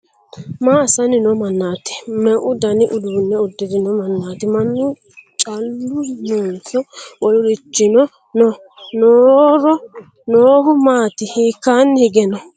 Ma assanni noo mannaati? Meu dani uduunne uddirino mannaati? Mannu callu noonso wolurichino no? Nooro noohu maati? Hiikkaanni hige no?